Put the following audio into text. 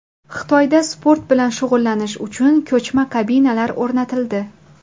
Xitoyda sport bilan shug‘ullanish uchun ko‘chma kabinalar o‘rnatildi.